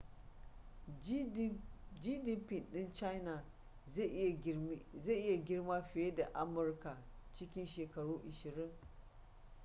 gdp ɗin china zai iya girma fiye da amurka cikin shekaru ashirin